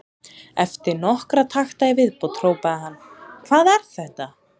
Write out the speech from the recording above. Eftir nokkra takta í viðbót hrópaði hann: Hvað er þetta?